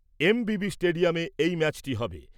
এমবিবি স্টেডিয়ামে এই ম্যাচটি হবে।